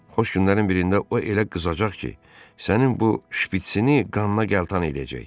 Xoş günlərin birində o elə qızacaq ki, sənin bu şpitsini qanına qəltan eləyəcək.